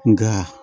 Nga